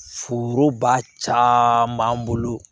Foroba ca b'an bolo